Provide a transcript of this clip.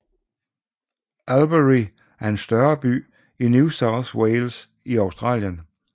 Albury er en større by i New South Wales i Australien